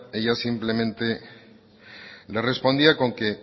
ella simplemente le respondía con que